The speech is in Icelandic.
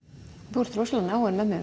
þú ert rosalega náin mömmu